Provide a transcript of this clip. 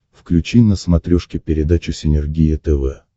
включи на смотрешке передачу синергия тв